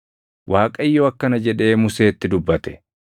Waaqayyo akkana jedhee Museetti dubbate;